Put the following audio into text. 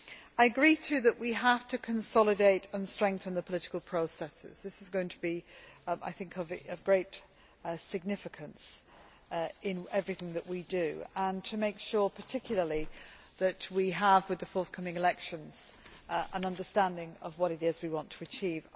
I agree, too, that we have to consolidate and strengthen the political processes, which is going to be of great significance in everything we do, and to make sure particularly that we have, with the forthcoming elections, an understanding of what it is we want to achieve.